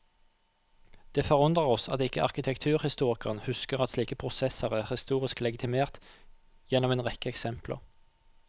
Det forundrer oss at ikke arkitekturhistorikeren husker at slike prosesser er historisk legitimert gjennom en rekke eksempler.